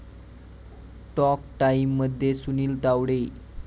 talk टाइम'मध्ये सुनील तावडे